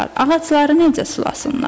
Ağacları necə sulasınlar?